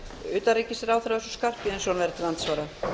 utanríkisráðherra össur skarphéðinsson verður til andsvara